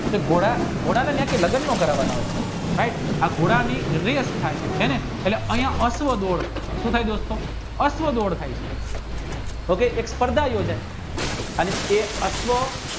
ઘોડા ના ન્યાં કે લગનનો કરવાના હોય આ ઘોડાની રેસ થાય અહીંયા અશ્વ દોડ થાય છે તો કી અને એ અશ્વ